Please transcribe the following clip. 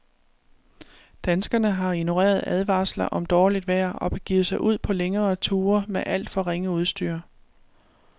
Danskerne har ignoreret advarsler om dårligt vejr og begivet sig ud på længere ture med alt for ringe udstyr.